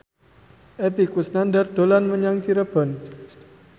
Epy Kusnandar dolan menyang Cirebon